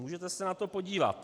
Můžete se na to podívat.